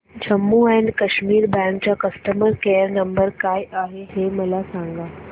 Jammu and Kashmir bank चा customer care number काय आहे हे मला सांगा